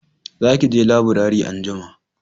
za ki je laburare anjima!